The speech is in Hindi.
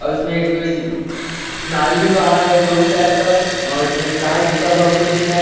और इसमें एक नाली भी बहा है जोरी टाइप का और इसमें एक तार घीचा हुआ हमको दिख रहा है।